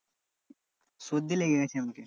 সর্দি লেগে গেছে আমাকে।